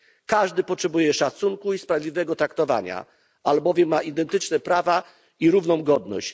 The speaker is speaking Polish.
Każdy potrzebuje szacunku i sprawiedliwego traktowania, albowiem ma identyczne prawa i równą godność.